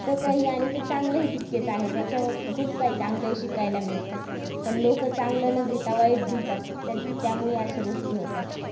घातकही ते आणि चांगलंही तितकेच आहे. त्याच्यावरती खूप काही चांगलंही शिकायला मिळत. पण लोक चांगलं न घेता वाईट घेतात. त त्यामुळं अश्या गोष्टी होतात.